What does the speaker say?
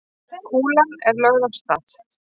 Kúlan er lögð af stað.